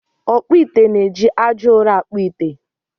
Ọkpụ ite na-eji aja ụrọ akpụ ite